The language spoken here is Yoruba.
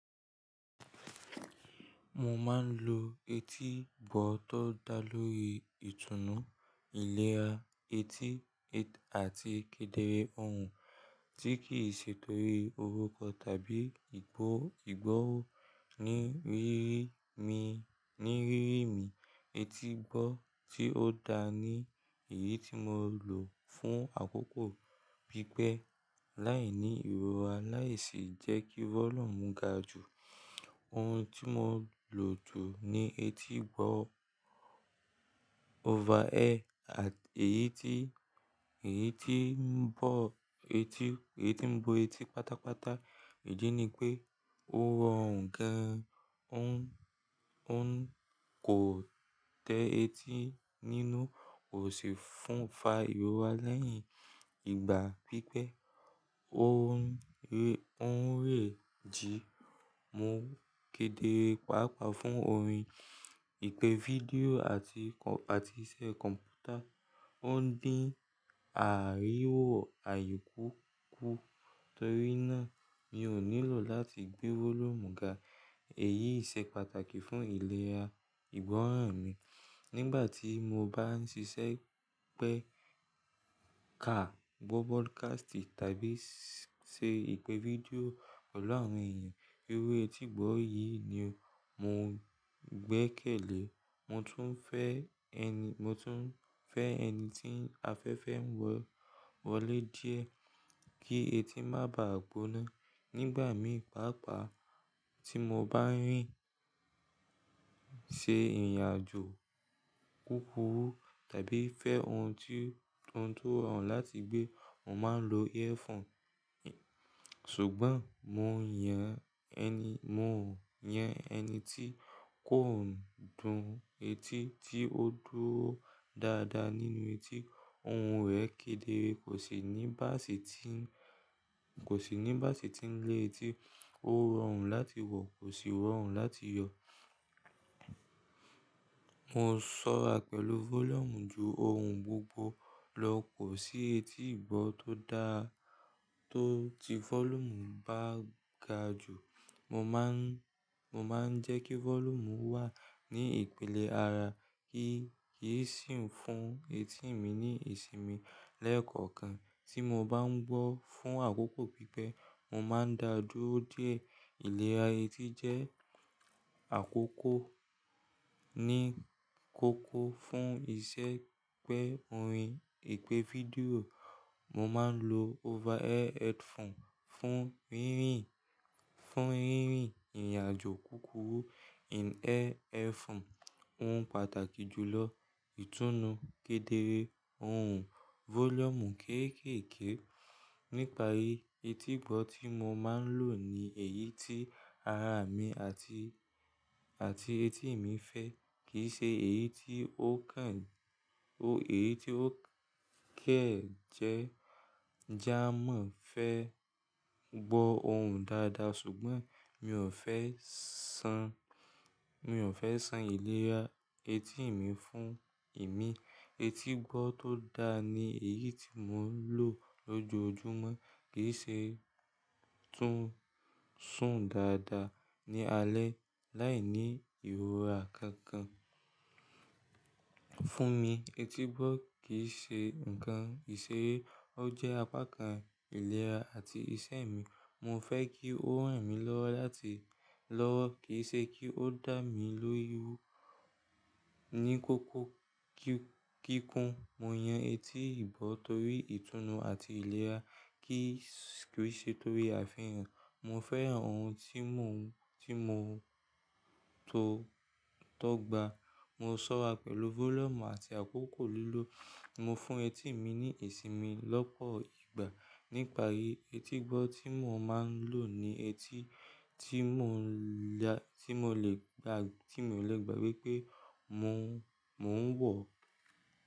Mo máa ń lo etígbọ́ tó dá lóri ìtùnú, ìlera etí àti kedere ohùn, tí kì í ṣe torí oruko tàbí ìgbọ́wọ́ ni ní rírì mi. Etígbọ́ tí ó dá ni èyí tí mo lò fún àkókò pípẹ́ láìní ìrora láì sì jẹ́ kí vólọ́mù ga jù. Ohun tí mo lò jù ni etígbọ́ over ear, èyí tí ń bo etí pátápátá. Ìdí ni pé ó rọrùn gan, kò tẹ etí nínú, kò sì fúnfa ìrora lẹ́yìn ìgbà pípẹ́. Ó ń rẹ jí. Mo kedere pàápàá fún orin, ìpè fídíò àti iṣẹ́ kọ̀m̀pútà. Ó ń dín àríwọ̀ àyíku kù torí náà mi ò nílò láti gbé vólọ́mù ga. Èyí ṣe pàtàkì fún ìlera ìgbọ́ràn mi nígbà tí mo bá ń ṣiṣẹ́ pẹ́ ka, gbọ́ broadcast tàbí ṣe ìpè fídíò. Ọlọ́run èyàn, irú etígbọ́ yìí ni mo gbé kèlè. Mo tún fẹ́ ẹni tí afẹ́fẹ́ ń wọlé díẹ̀ kí etí má bàá gbóná nígbà mìíràn. Pàápàá tí mo bá ń rìn, ṣe ìrìnàjò kúkurú tàbí fẹ́ ohun tó rọrùn láti gbé, mo máa ń lo earphone. Ṣùgbọ́n mo yan ẹni tí kò dùn etí, tí ó dúró dáadáa nínú etí. Ohun rẹ̀ kedere, kò sì ní báàsì tí ń lé etí. Ó rọrùn láti wọ̀, kò sì rọrùn láti yọ. Mo ṣọ́ra pẹ̀lú vólọ́mù ju ohun gbogbo lọ. Kò sí etígbọ́ tó dá to tí vólọ́mù bá ga jù. Mo máa ń jẹ́ kí vólọ́mù wà ní ìpìlẹ̀ ara kí kì í sìn fún etí ì mi ní ìsinmi lẹ́ẹ̀kọ̀kan. Tí mo bá ń gbọ́ fún àkókò pípẹ́, mo máa ń dáa dúró díẹ̀. Ìlera etí jẹ́ àkókò ní kókó fún ìṣe pẹ́ orin, ìpè fídíò. Mo máa ń lo over ear headphone fún rírin, fún ìrìnàjò kúkurú. In-ear earphone òún pàtàkì jù lọ. Itunu kedere, ohùn vólọ́mù kéékèèké. Nípàrí etígbọ́ tí mo máa ń lò ni èyí tí ara mi àti etí ì mi fẹ́, kì í ṣe eyi ti o kan èyí tí ó kẹ́ je jamọ̀ fẹ́ gbọ́ ohùn dáadáa ṣùgbọ́n mi ò fẹ́ san ìlera etí ì mi fún ìmi. Etígbọ́ tó dá ni èyí tí mò ń lò lójoojúmọ́, kì í ṣe tún sùn dáadáa ní alẹ́ láìní ìrora kankan. Fún mi etígbọ́ kì í ṣe ǹkan ìṣeré, ó jẹ́ apá kan ìlera àti ìṣe mi. Mo fẹ́ kí ó ràn mí lọ́wọ́ lati, lowo kì í ṣe kí ó dà mí lóríwu Ní kókó kíkun, mo yan etígbọ́ torí ìtùnú àti ìlera kì í ṣe torí àfihàn. Mo fẹ́ran ohun tí mò ń tọ́gbà. Mo ṣọ́ra pẹ̀lú vólọ́mù àti àkókò lílò. Mo fún etí ì mi ní ìsinmi lọ́pọ̀ ìgbà. Nípàrí etígbọ́ tí mò ń lò ni etí tí mò lè gbà wípé mò ń wọ̀.